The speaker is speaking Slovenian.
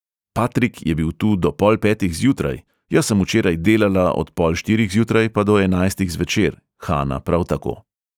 Patrik je bil tu do pol petih zjutraj, jaz sem včeraj delala od pol štirih zjutraj pa do enajstih zvečer, hana prav tako.